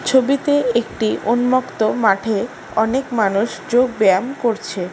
ছবিতে একটি উন্মুক্ত মাঠে অনেক মানুষ যোগ ব্যায়াম করছে।